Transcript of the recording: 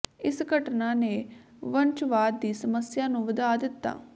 ਇਸ ਘਟਨਾ ਨੇ ਵੰਸ਼ਵਾਦ ਦੀ ਸਮੱਸਿਆ ਨੂੰ ਵਧਾ ਦਿੱਤਾ